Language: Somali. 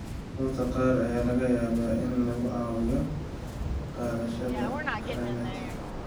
Carruurta qaar ayaa laga yaabaa in lagu caawiyo qaadashada L carnitine.